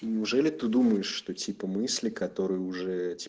неужели ты думаешь что типа мысли которые уже